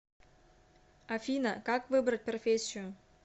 афина как выбрать профессию